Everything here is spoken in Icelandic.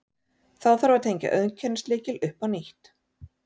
Þá þarf að tengja auðkennislykil upp á nýtt.